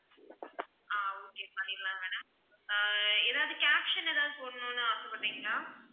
ஆஹ் okay பண்ணிடலாம் madam ஏதாவது caption ஏதாவது போடணும்னு ஆசைப்படுறீங்களா?